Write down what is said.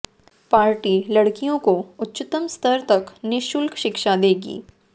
party लड़कियों को उच्चतम स्तर तक निःशुल्क शिक्षा देगी